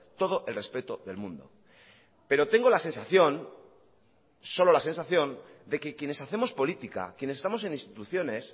todo el respeto del mundo pero tengo la sensación solo la sensación de que quienes hacemos política quienes estamos en instituciones